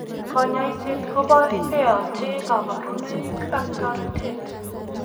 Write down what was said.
Kanyoiset ko beote kabarunoik ak toretet.